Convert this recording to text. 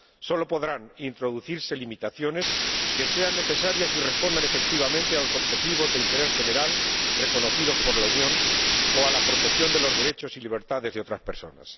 Solo podrán introducirse limitaciones que sean necesarias y respondan efectivamente a los objetivos de interés general reconocidos por la Unión o a la protección de los derechos y libertades de otras personas.